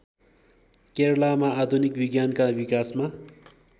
केरलामा आधुनिक विज्ञानका विकासमा